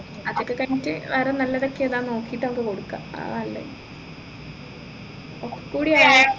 അതൊക്കെ കഴിഞ്ഞിട്ട് വേറെ നല്ലതൊക്കെ ഏതാ നോക്കിയിട്ട് നമ്മക്ക് കൊടുക്കാം അതാ നല്ലത് ഒക്കെ കൂടെ ആയാൽ